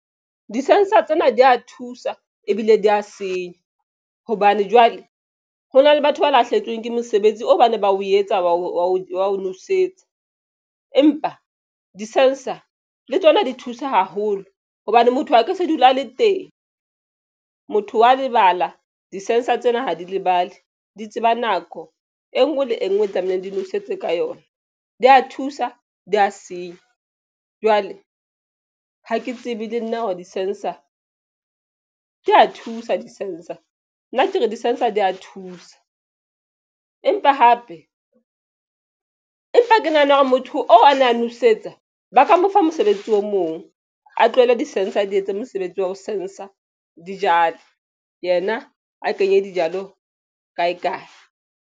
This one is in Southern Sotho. Di-sensor tsena di ya thusa ebile di ya senya hobane jwale ho na le batho ba lahlehetsweng ke mosebetsi o ba ne ba o etsa wa o nosetsa empa di-sensor le tsona di thusa haholo hobane motho ha ke se dula a le teng motho wa lebala. Di-sensor tsena ha di lebale di tseba nako e nngwe le e nngwe e tlamehileng. Di nosetse ka yona di a thusa di ya senya. Jwale ha ke tsebe le nna hore di-sensor di ya thusa di-sensor nna ke re di-sensor di ya thusa empa hape empa ke nahana hore motho oo a na a nwesetsa ba ka mo fa mosebetsi o mong a tlohele di sensor di etsa mosebetsi wa ho sensor di jalo yena a kenye dijalo kae kae.